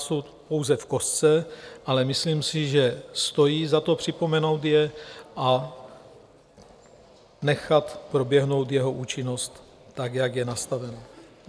Jsou pouze v kostce, ale myslím si, že stojí za to, připomenout je a nechat proběhnout jeho účinnost tak, jak je nastavena.